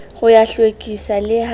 ho ya hlwekisa le ha